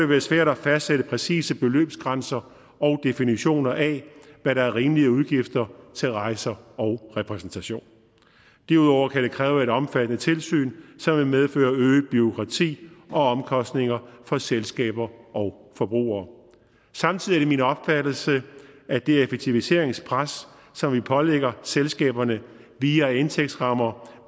være svært at fastsætte præcise beløbsgrænser og definitioner af hvad der er rimeligt af udgifter til rejser og repræsentation derudover kan det kræve et omfattende tilsyn som vil medføre øget bureaukrati og omkostninger for selskaber og forbrugere samtidig er det min opfattelse at det effektiviseringspres som vi pålægger selskaberne via indtægtsrammer